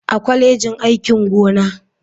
A kwalejin aikin gona.